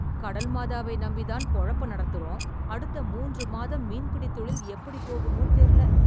கடல் மாதாவை நம்பி தான் பொழப்ப நடத்துறோம் , அடுத்த மூன்று மாதம் மீன் பிடி தொழில் எப்படி போகுமோ தெர்ல.